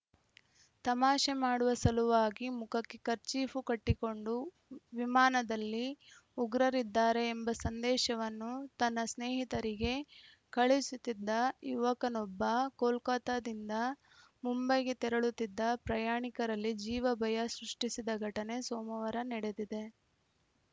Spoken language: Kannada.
ತಮಾಷೆ ಮಾಡುವ ಸಲುವಾಗಿ ಮುಖಕ್ಕೆ ಕರ್ಚೀಫು ಕಟ್ಟಿಕೊಂಡು ವಿಮಾನದಲ್ಲಿ ಉಗ್ರರಿದ್ದಾರೆ ಎಂಬ ಸಂದೇಶವನ್ನು ತನ್ನ ಸ್ನೇಹಿತರಿಗೆ ಕಳುಹಿಸುತ್ತಿದ್ದ ಯುವಕನೊಬ್ಬ ಕೋಲ್ಕತಾದಿಂದ ಮುಂಬೈಗೆ ತೆರಳುತ್ತಿದ್ದ ಪ್ರಯಾಣಿಕರಲ್ಲಿ ಜೀವ ಭಯ ಸೃಷ್ಟಿಸಿದ ಘಟನೆ ಸೋಮವಾರ ನಡೆದಿದೆ